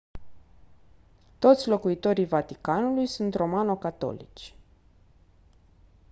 toți locuitorii vaticanului sunt romano-catolici